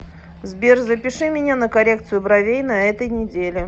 сбер запиши меня на коррекцию бровей на этой неделе